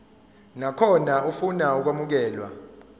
nakhona ofuna ukwamukelwa